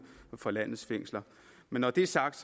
for landets fængsler men når det er sagt